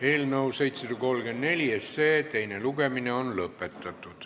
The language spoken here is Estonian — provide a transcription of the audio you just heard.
Eelnõu 734 teine lugemine on lõpetatud.